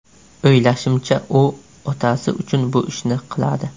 O‘ylashimcha, u otasi uchun bu ishni qiladi.